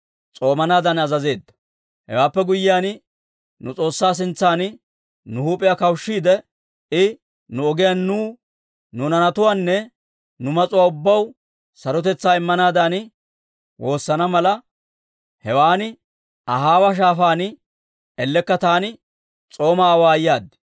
Hewaappe guyyiyaan, nu S'oossaa sintsan nu huup'iyaa kawushshiide, I nu ogiyaan nuw, nu naanatuwaanne nu mas'uwaa ubbaw sarotetsaa immanaadan woosana mala, hewan Ahaawa Shaafaan ellekka taani s'oomaa awaayaad.